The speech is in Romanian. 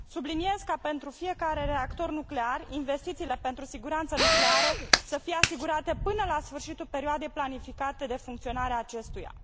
Subliniez că, pentru fiecare reactor nuclear, investițiile pentru siguranța nucleară trebuie să fie asigurate până la sfârșitul perioadei planificate de funcționare a acestuia.